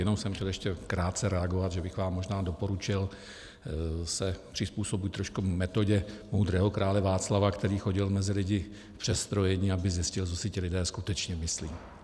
Jenom jsem chtěl ještě krátce reagovat, že bych vám možná doporučil se přizpůsobit trošku metodě moudrého krále Václava, který chodil mezi lidi v přestrojení, aby zjistil, co si ti lidé skutečně myslí.